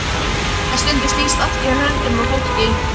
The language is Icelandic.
En stundum snýst allt í höndunum á fólki.